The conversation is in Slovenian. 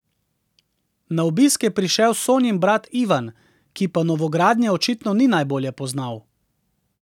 Na obisk je prišel Sonjin brat Ivan, ki pa novogradnje očitno ni najbolje poznal.